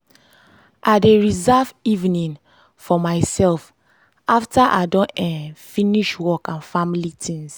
i dey reserve evening for myself after i don um finish work and family tings.